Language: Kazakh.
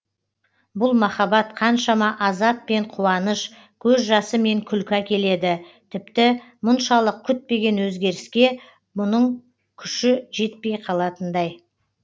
бұл махаббат қаншама азап пен қуаныш көз жасы мен күлкі әкеледі тіпті мұншалық күтпеген өзгеріске бұның күші жетпей қалатындай